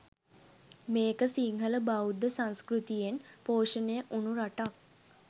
මේක සිංහල බෞද්ධ සංස්කෘතියෙන් පෝෂණය වුනු රටක්.